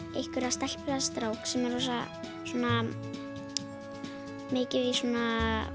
stelpu eða strák sem er rosa svona mikið í svona